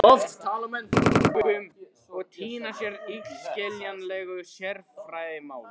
Oft tala menn tungum og týna sér í illskiljanlegu sérfræðimáli.